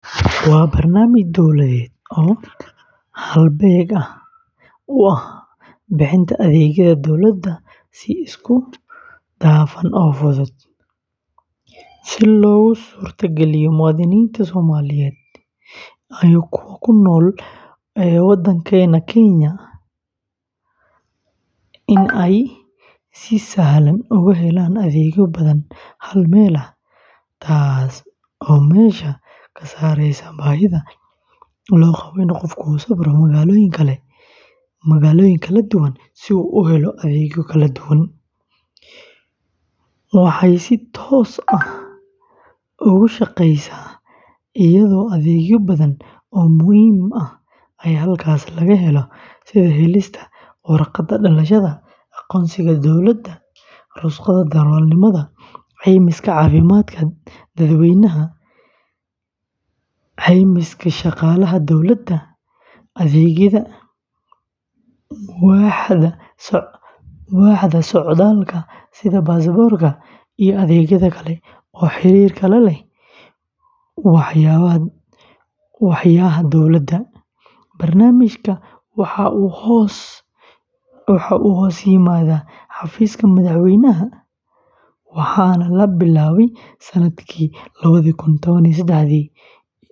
Waa barnaamij dowladeed oo halbeeg u ah bixinta adeegyada dowladda si isku dhafan oo fudud, si loogu suurtageliyo muwaadiniinta Soomaaliyeed ee ku nool gudaha Kenya in ay si sahlan uga helaan adeegyo badan hal meel, taasoo meesha ka saareysa baahida loo qabo in qofku u safro magaalooyin kala duwan si uu u helo adeegyo kala duwan. Waxay si toos ah ugu shaqeysaa iyadoo adeegyo badan oo muhiim ah ay halkaas laga helo, sida helista warqadda dhalashada, aqoonsiga dowladda, rukhsadaha darawalnimada, caymiska caafimaadka dadweynaha, caymiska shaqaalaha dowladda, adeegyada waaxda socdaalka sida baasaboorka, iyo adeegyada kale ee xiriirka la leh waaxyaha dowladda. Barnaamijkan waxa uu hoos yimaadaa xafiiska madaxweynaha waxaana la bilaabay sannadkii lawadha kun twan iyo sedaxdii.